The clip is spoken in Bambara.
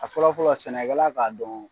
A fɔlɔ fɔlɔ sɛnɛkɛla k'a dɔn